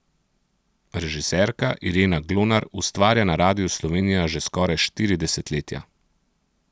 Režiserka Irena Glonar ustvarja na Radiu Slovenija že skoraj štiri desetletja.